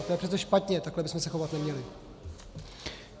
A to je přece špatně, takhle bychom se chovat neměli.